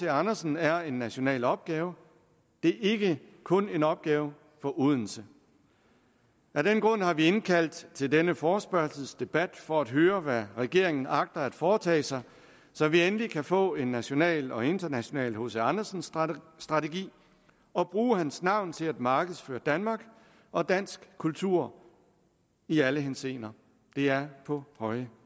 andersen er en national opgave det er ikke kun en opgave for odense af den grund har vi indkaldt til denne forespørgselsdebat for at høre hvad regeringen agter at foretage sig så vi endelig kan få en national og international hc andersen strategi strategi og bruge hans navn til at markedsføre danmark og dansk kultur i alle henseender det er på høje